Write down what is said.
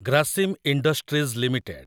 Grasim industries limited